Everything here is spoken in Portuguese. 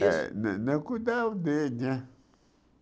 isso? Eh né né cuidar né